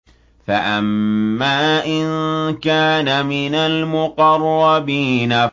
فَأَمَّا إِن كَانَ مِنَ الْمُقَرَّبِينَ